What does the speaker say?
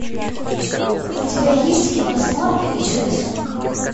у тебя есть кино смарта и чудо сумка